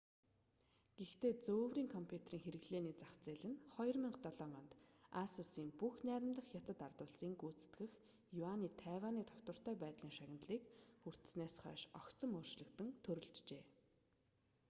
гэхдээ зөөврийн компьютерийн хэрэглээний зах зээл нь 2007 онд асус нь бүгд найрамдах хятад ард улсын гүйцэтгэх юаны тайваний тогтвортой байдлын шагналыг хүртсэнээс хойш огцом өөрчлөгдөн төрөлжжээ